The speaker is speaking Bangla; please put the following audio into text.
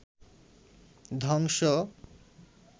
ধ্বংস